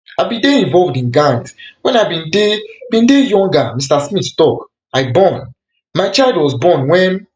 i bin dey involved in gangs when i bin dey bin dey younger mr smith tok i born my child was born wen